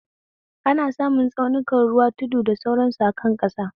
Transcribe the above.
Ana samun tsaunuka, ruwa, tudu, da sauran su akan ƙasa.